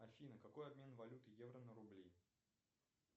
афина какой обмен валюты евро на рубли